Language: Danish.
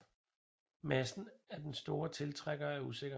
Massen af Den store tiltrækker er usikker